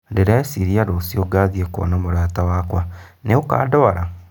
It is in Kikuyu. Ndĩreciria rũciũ ngathii kwona mũrata wakwa nĩ ũkandwara